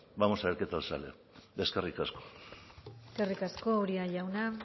vamos a ver qué tal sale eskerrik asko eskerrik asko uria jauna